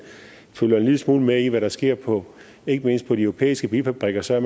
følger en lille smule med i hvad der sker på ikke mindst de europæiske bilfabrikker så